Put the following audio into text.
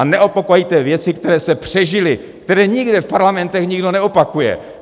A neopakujte věci, které se přežily, které nikde v parlamentech nikdo neopakuje!